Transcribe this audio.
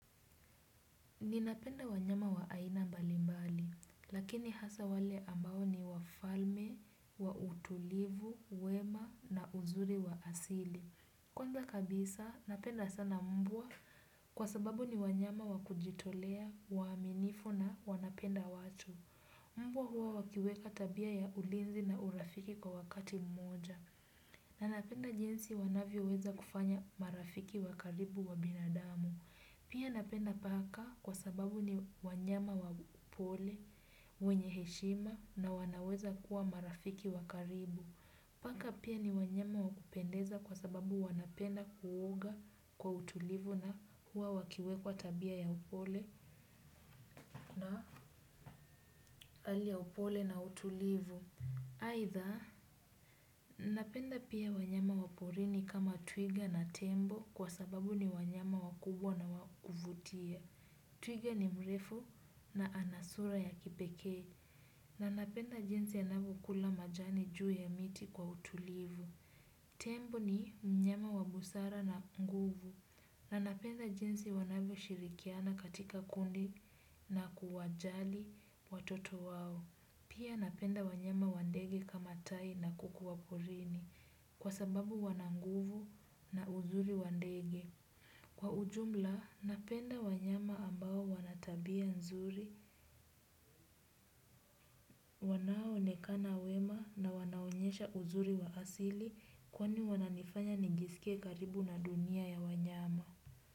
Ninapenda wanyama wa aina mbali mbali, lakini hasa wale ambao ni wafalme, wautulivu, wema na uzuri wa asili. Kwanza kabisa, napenda sana mbwa kwa sababu ni wanyama wakujitolea, waaminifu na wanapenda watu. Mbwa huwa wakiweka tabia ya ulinzi na urafiki kwa wakati mmoja. Nanapenda jinsi wanavyo weza kufanya marafiki wakaribu wa binadamu. Pia napenda paka kwa sababu ni wanyama wapole, wenye heshima na wanaweza kuwa marafiki wakaribu. Paka pia ni wanyama wakupendeza kwa sababu wanapenda kuoga kwa utulivu na huwa wakiwekwa tabia ya upole na hali ya upole na utulivu. Either napenda pia wanyama waporini kama twiga na tembo kwa sababu ni wanyama wakubwa na wakuvutia. Twiga ni mrefu na anasura ya kipeke na napenda jinsi anavyo kula majani juu ya miti kwa utulivu. Tembo ni mnyama wa busara na nguvu na napenda jinsi wanavyo shirikiana katika kundi na kuwajali watoto wao. Pia napenda wanyama wandege kama tai na kuku wa porini kwa sababu wananguvu na uzuri wandege. Kwa ujumla, napenda wanyama ambao wanatabia nzuri, wanao onekana wema na wanaonyesha uzuri wa asili kwani wananifanya nijisike karibu na dunia ya wanyama.